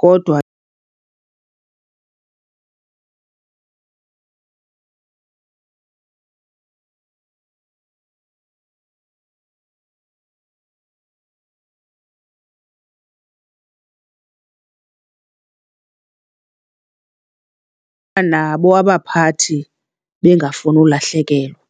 kodwa nabo abaphathi bengafuni ulahlekelwa.